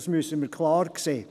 Das müssen wir klar sehen.